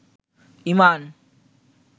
ঈমান